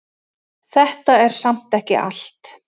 Þetta er samt ekki allt.